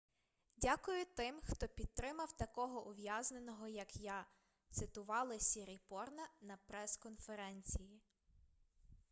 дякую тим хто підтримав такого ув'язненого як я - цитували сіріпорна на прес-конференції